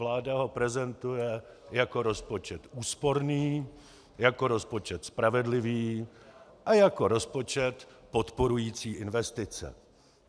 Vláda ho prezentuje jako rozpočet úsporný, jako rozpočet spravedlivý a jako rozpočet podporující investice.